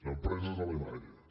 empreses alemanyes